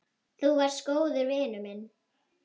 Þú varst góður vinur minn.